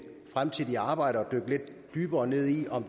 fremtidige arbejde at dykke lidt dybere ned i om